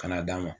Kana d'a ma